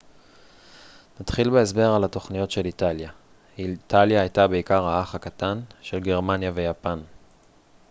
נתחיל בהסבר על התוכניות של איטליה איטליה הייתה בעיקר האח הקטן של גרמניה ויפן